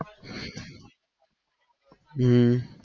હમ